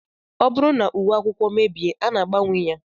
Ọ bụrụ na uwe akwụkwọ mebie, a na-agbanwe ya